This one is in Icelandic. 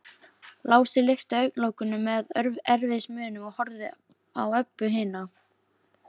Lási lyfti augnalokunum með erfiðismunum og horfði á Öbbu hina.